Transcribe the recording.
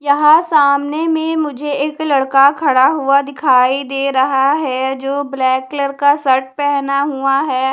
यहां सामने में मुझे एक लड़का खड़ा हुआ दिखाई दे रहा है जो ब्लैक कलर का शर्ट पहना हुआ है।